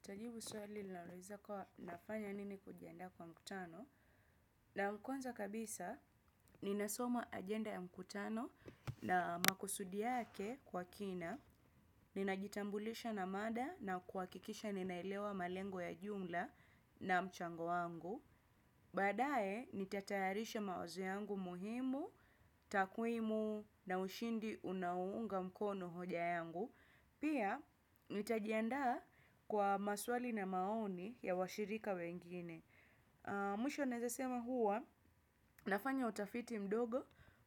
Nitajibu swali na nawezakuwa nafanya nini kujiandaa kwa mkutano. Naam, kwanza kabisa, ninasoma ajenda ya mkutano na makusudi yake kwa kina. Ninajitambulisha na mada na kuhakikisha ninaelewa malengo ya jumla na mchango wangu. Baadaye, nitatayarisha mawazo yangu muhimu, takwimu na ushindi unaounga mkono hoja yangu. Pia, nitajiandaa kwa maswali na maoni ya washirika wengine. Mwisho nawezasema huwa, nafanya utafiti mdogo.